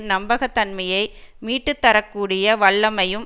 நம்பகத்தன்மையை மீட்டுத்தரக்கூடிய வல்லமையும்